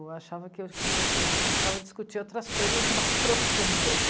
Eu achava que eu queria, eu precisava discutir outras coisas mais profundas.